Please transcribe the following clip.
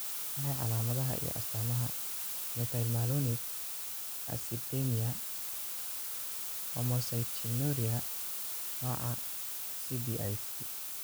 Waa maxay calaamadaha iyo astaamaha Methylmalonic acidemia ee leh homocystinuria, nooca cblC?